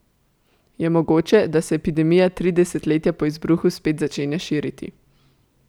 Je mogoče, da se epidemija tri desetletja po izbruhu spet začenja širiti?